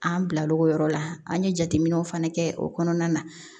An bila l'o yɔrɔ la an ye jateminɛw fana kɛ o kɔnɔna na